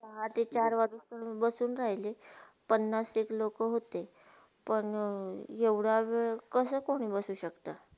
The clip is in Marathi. पहाटे चार वाजता मी बसुन राहिले पन्नासतर लोका होते पण ऐवडया वेळ कसा कोणही बसू शक्ता?